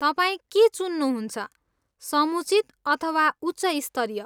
तपाईँ के चुन्नुहुन्छ, समुचित अथवा उच्च स्तरीय?